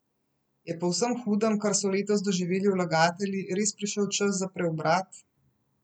Je po vsem hudem, kar so letos doživeli vlagatelji, res prišel čas za preobrat?